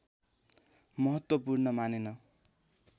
महत्त्वपूर्ण मानेन